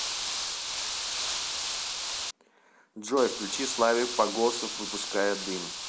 джой включи славик погосов выпуская дым